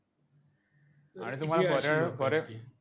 आणि तुम्हाला बरे